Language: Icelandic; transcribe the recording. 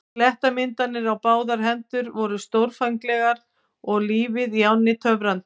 Klettamyndanir á báðar hendur voru stórfenglegar og lífið í ánni töfrandi.